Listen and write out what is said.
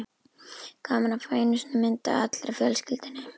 Gaman að fá einu sinni mynd af allri fjölskyldunni.